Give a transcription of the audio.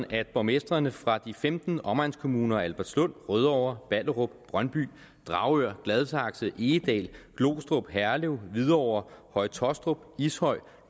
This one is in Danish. at borgmestrene fra de femten omegnskommuner albertslund rødovre ballerup brøndby dragør gladsaxe egedal glostrup herlev hvidovre høje taastrup ishøj